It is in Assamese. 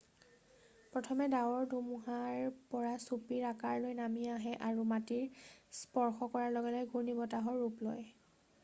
"প্ৰথমে ডাঁৱৰৰ ধুমুহাৰ পৰা চুপিৰ আকাৰ লৈ নামি আহে আৰু মাটি স্পৰ্শ কৰাৰ লগে লগে "ঘূৰ্ণীবতাহ""ৰ ৰূপ লয়।""